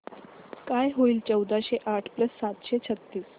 काय होईल चौदाशे आठ प्लस सातशे छ्त्तीस